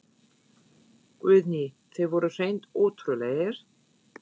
Guðný: Þeir voru hreint ótrúlegir?